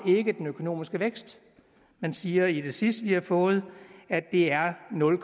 den økonomiske vækst man siger i det sidste vi har fået at det er nul